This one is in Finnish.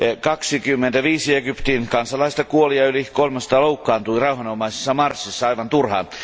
25 Egyptin kansalaista kuoli ja yli 300 loukkaantui rauhanomaisessa marssissa aivan turhaan.